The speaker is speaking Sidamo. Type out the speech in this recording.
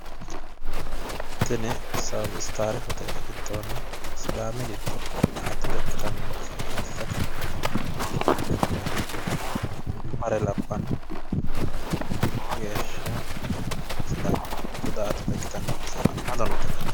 tini south star hotele giddonni sidaami gidoonni daa''atote ikitanno base egensiisate loonsoonni looso egensiissano hattono sidaami giddo daa''attote base hala'lado noota ikkase xawisanno.